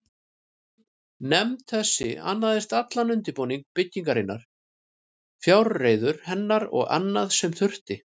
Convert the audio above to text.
Nefnd þessi annaðist allan undirbúning byggingarinnar, fjárreiður hennar og annað, sem þurfti.